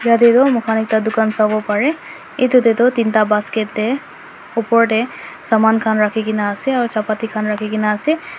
yate tu moikhan ekta dukan sabo pare etu teh tu tin ta basket teh upor teh saman khan rakhi ke na ase or chapati khan rakhi ke na ase.